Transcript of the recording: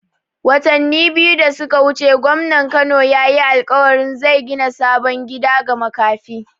Watani biyu da suka wuce gwamnan Kano yayi alƙawarin zai gina sabon gida ma makafi